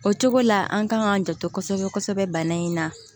O cogo la an kan k'an janto kosɛbɛ kosɛbɛ bana in na